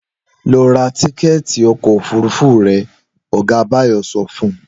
Lọ ra tíkẹ́ẹ̀tì ọkọ̀ òfúrufú rẹ!', ọ̀gá Báyọ̀ sọ fun